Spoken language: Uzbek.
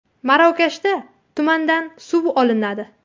Marokashda tumandan suv olinadi .